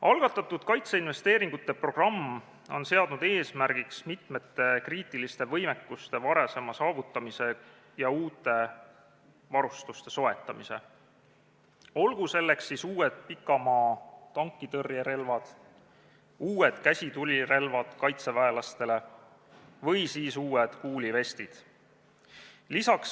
Algatatud kaitseinvesteeringute programm on seadnud eesmärgiks mitmete kriitiliste võimekuste varasema saavutamise ja uue varustuse soetamise, olgu selleks uued pikamaa-tankitõrjerelvad, uued käsitulirelvad kaitseväelastele või siis uued kuulivestid.